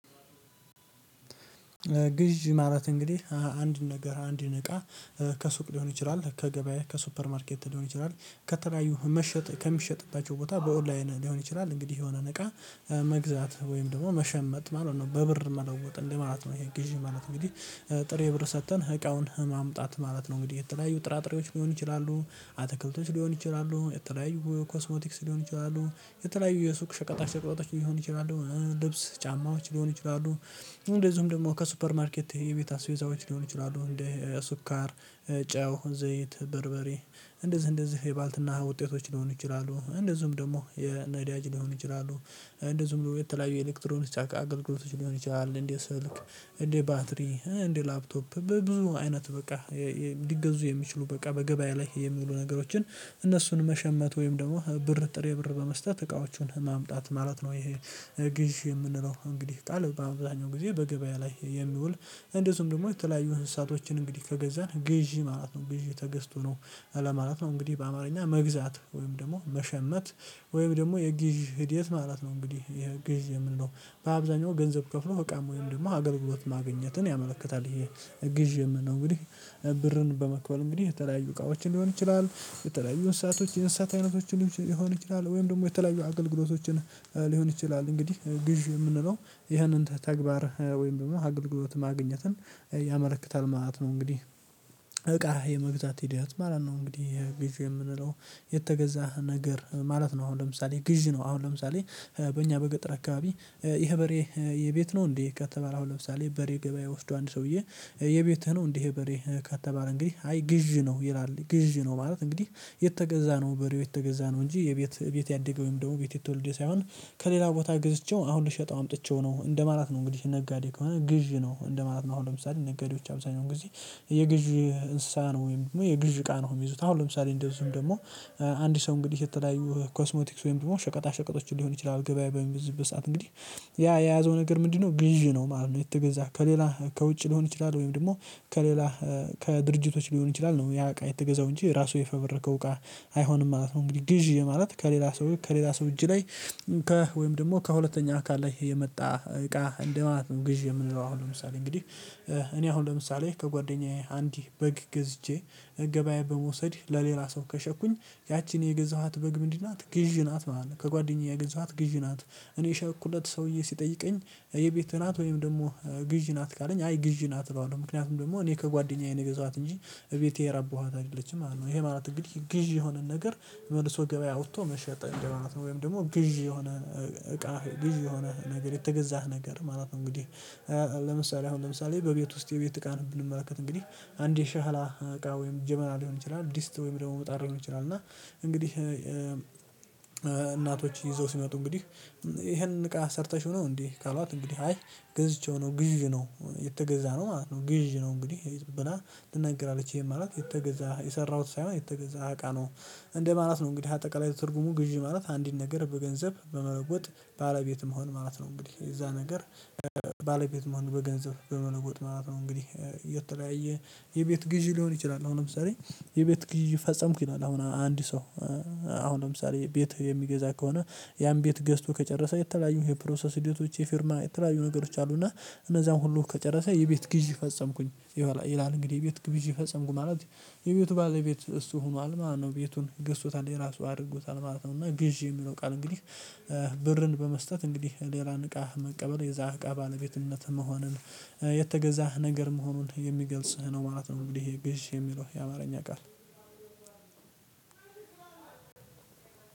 ግዥ ማለት እንግዲህ አንድን ነገር አንድን እቃ ከሱቅ ሊሆን ይችላል ከገበያ ከሱፐር ማርኬት ሊሆን ይችላል ከተለያዩ መሸጥ ከሚሸጡባቸው ቦታ በኦንላይን ሊሆን ይችላል እንግዲህ የሆነን እቃ መግዛት ወይም ደግሞ መሸመጥ ማለት ነው በብር መለወጥ እንደ ማለት ነው። ይሄ ግዢ ማለት እንግዲህ ጥሬ ብር ሰጥተን እቃውን ማምጣት ማለት ነው እንግዲህ የተለያዩ ጥራጥሬዎች ሊሆኑ ይችላሉ። አትክልቶች ሊሆኑ ይችላሉ የተለያዩ ኮስሞቲክስ ሊሆኑ ይችላሉ። የተለያዩ የሱቅ ሸቀጣ ሸቀጣች ሊሆኑ ይችላሉ። ልብስ ጫማዎች ሊሆኑ ይችላሉ። እንደዚሁም ደግሞ ከሱፐር ማርኬት የቤት አስቤዛዎች ሊሆኑ ይችላሉ። እንደ ስኳር ጨው ዘይት በርበሬ እንደዚህ እንደዚህ የባልትና ውጤቶች ሊሆኑ ይችላሉ። እንደዚህም ደግሞ የነዳጅ ሊሆኑ ይችላሉ። እንደዚሁም ደግሞ የተለያዩ የኤሌክትሮኒክስ አገልግሎቶች ሊሆን ይችላል። እንደ ስልክ እንደ ባትሪ እንደ ላፕቶፕ በብዙ አይነት በቃ ሊገዙ የሚችሉ በቃ በገበያ ላይ የሚውሉ ነገሮችን እነሱን መሸመት ወይም ደግሞ ብር ጥሬ ብር በመስጠት እቃዎቹን ማምጣት ማለት ነው። ይሄ ግዢ የምንለው እንግዲህ ቃል በአብዛኛው ጊዜ በገበያ ላይ የሚውል እንደዚሁም ደግሞ የተለያዩ እንስሳቶችን እንግዲህ ከገዛን ግዢ ማለት ነው ግዢ ተገዝቶ ነው። ለማለት ነው እንግዲህ በአማርኛ መግዛት ወይም ደግሞ መሸመት ወይም ደግሞ የግዢ ሂደት ማለት ነው። እንግዲህ ይሄ ግዢ የምንለው በአብዛኛው ገንዘብ ከፍሎ እቃም ወይም ደግሞ አገልግሎት ማግኘትን ያመለክታል። ይሄ ግዢ የምንለው እንግዲህ ብርን በመክፈል እንግዲህ የተለያዩ እቃዎችን ሊሆን ይችላል። የተለያዩ እንስሳቶች የእንስሳት አይነቶች ሊሆን ይችላል ወይም ደግሞ የተለያዩ አገልግሎቶችን ሊሆን ይችላል። እንግዲህ ግዢ የምንለው ይህንን ተግባር ወይም ደግሞ አግልግሎት ማግኘትን ያመለክታል ማለት ነው። እንግዲህ እቃ የመግዛት ሂደት ማለት ነው። እንግዲህ ግዢ የምንለው የተገዛ ነገር ማለት ነው። አሁን ለምሳሌ ግዢ ነው። አሁን ለምሳሌ በእኛ በገጠር አከባቢ ይሄ በሬ የቤት ነው? እንዴ ከተባለ አሁን ለምሳሌ በሬ ገበያ ወስዶ አንድ ሰውዬ የቤትህ ነው? እንዴ ይሄ በሬ ከተባለ እንግዲህ አይ ግዥ ነው ይላል ግዥ ነው ማለት እንግዲህ የተገዛ ነው። በሬው የተገዛ ነው እንጂ የቤት ቤት ያደገ ወይም ደግሞ ቤት የተወለደ ሳይሆን ከሌላ ቦታ ገዝቼው አሁን ልሸጠው አምጥቼው ነው እንደማላት ነው። እንግዲህ ነጋዴ ከሆነ ግዢ ነው እንደማለት ነው። አሁን ለምሳሌ ነጋዴዎች አብዛኛውን ጊዜ የግዢ እንስሳ ነው ወይም ደግሞ የግዢ እቃ ነው የሚይዙት። አሁን ለምሳሌ እንደዚሁም ደግሞ አንድ ሰው እንግዲህ የተለያዩ ኮስሞቲክስ ወይም ደግሞ ሸቀጣ ሸቀጦችን ሊሆን ይችላል ገበያ በሚበዘብዝ ሰዓት እንግዲህ ያ የያዘው ነገር ምንድነው? ግዢ ነው ማለት ነው። የተገዛ ከሌላ ከውጭ ሊሆን ይችላል ወይም ደግሞ ከሌላ ከድርጅቶች ሊሆን ይችላል። ነው ያ እቃ የተገዛው እንጂ ራሱ የፈበረከው እቃ አይሆንም ማለት ነው። እንግዲህ ግዢ ማለት ከሌላ ሰው ከሌላ ሰው እጅ ላይ ወይም ደግሞ ከሁለተኛ አካል ላይ የመጣ እቃ እንደ ማለት ነው። ግዢ የምንለው አሁን ለምሳሌ እንግዲህ እኔ አሁን ለምሳሌ ከጓደኛዬ አንዲት በግ ገዝቼ ገበያ በመውሰድ ለሌላ ሰው ከሸጥኩኝ ያቺን የገዛኋት በግ ምንድ ናት ግዥ ናት ማለት ነው። ከጓደኛዬ የገዛኋት ግዢ ናት እኔ የሸጥኩለት ሰውዬ ሲጠይቀኝ የቤት ናት ወይም ደግሞ ግዢ ናት። ካለኝ አይ ግዢ ናት እለዋለሁ። ምክንያቱም ደግሞ እኔ ከጓደኛዬ ነው የገዛኋት እንጂ እቤቴ ያረባኋት አይደለችም ማለት ነው። ይሄ ማለት እንግዲህ ግዢ የሆነን ነገር መልሶ ገበያ አውጥቶ መሸጥ እንደ ማለት ነው። ወይም ደግሞ ግዢ የሆነ እቃ ግዢ የሆነ ነገር የተገዛ ነገር ማለት ነው። እንግዲህ ለምሳሌ አሁን ለምሳሌ በቤት ውስጥ የቤት እቃን ብንመለከት እንግዲህ አንድ የሻህላ እቃ ወይም ጀበና ሊሆን ይችላል። ድስት ወይም ደግሞ መጣድ ሊሆን ይችላል። እና እንግዲህ እናቶች ይዘው ሲመጡ እንግዲህ ይሄን እቃ ሰርተሽው ነው? እንዴ ካሏት እንግዲህ አይ ገዝቼው ነው ግዥ ነው። የተገዛነው ነው ማለት ነው። ግዥ ነው እንግዲህ ብላ ትናገራለች ይሄን ማለት የተገዛ የሰራሁት ሳይሆን የተገዛ አቃ ነው። እንደ ማለት ነው። እንግዲህ አጠቃላይ ትርጉሙ ግዢ ማለት አንድን ነገር በገንዘብ በመለወጥ ባለቤት መሆን ማለት ነው። እንግዲህ የዛ ነገር ባለቤት መሆን በገንዘብ በመለወጥ ማለት ነው። እንግዲህ የተለያየ የቤት ግዢ ሊሆን ይችላል። አሁን ለምሳሌ የቤት ግዢ ፈጸምኩኝ ይላል። አሁን አንድ ሰው አሁን ለምሳሌ ቤት የሚገዛ ከሆነ ያን ቤት ገዝቶ ከጨረሰ የተለያዩ የፕሮሰስ ሂደቶች የፊርማ የተለያዩ ነገሮች አሉና እነዛን ሁሉ ከጨረሰ የቤት ግዢ ፈጸምኩኝ። ይላል እንግዲህ ቤት ግዥ ፈጸምኩ ማለት የቤቱ ባለቤት እሱ ሆኗል ማለት ነው። ቤቱን ገስቶታል የራሱ አድርጎታል ማለት ነው። እና ግዢ የሚለው ቃል እንግዲህ ብርን በመስጠት እንግዲህ ሌላን እቃ መቀበል የዛ እቃ ባለቤትነት መሆንን የተገዛ ነገር መሆኑን የሚገልጽ ነው ማለት ነው። እንግዲህ ይሄ ግዢ የሚለው የአማርኛ ቃል